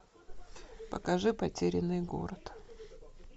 покажи потерянный город